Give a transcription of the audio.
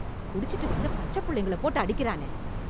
குடிச்சுட்டு வந்து பச்ச புள்ளைங்களை போட்டு அடிக்கறானே